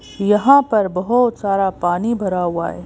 यहां पर बहुत सारा पानी भरा हुआ है।